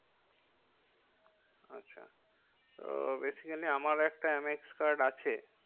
আচ্ছা ও basically আমার একটা এম এক্স card আছে।